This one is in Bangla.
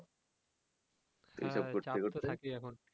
হ্যা চাপ তো থাকেই এখন